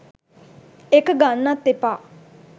ඒක ගන්නත් එපා.